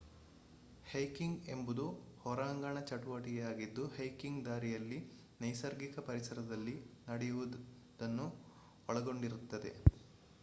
hiking ಎಂಬುದು ಹೊರಾಂಗಣ ಚಟುವಟಿಕೆಯಾಗಿದ್ದು ಹೈಕಿಂಗ್ ದಾರಿಯಲ್ಲಿ ನೈಸರ್ಗಿಕ ಪರಿಸರದಲ್ಲಿ ನಡೆಯುವುದನ್ನು ಒಳಗೊಂಡಿರುತ್ತದೆ